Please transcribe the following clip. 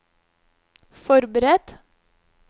forberedt